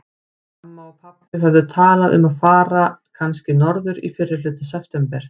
Mamma og pabbi höfðu talað um að fara kannski norður í fyrrihluta september.